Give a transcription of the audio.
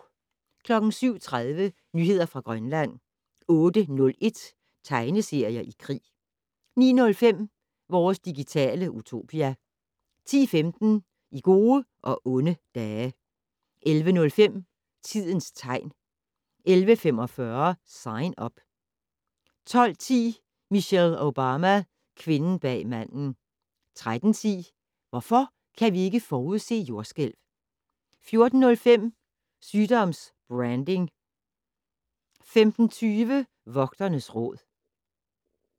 07:30: Nyheder fra Grønland 08:01: Tegneserier i krig 09:05: Vores digitale utopia 10:15: I gode og onde dage 11:05: Tidens tegn 11:45: Sign Up 12:10: Michelle Obama: Kvinden bag manden 13:10: Hvorfor kan vi ikke forudse jordskælv? 14:05: Sygdoms-branding 15:20: Vogternes Råd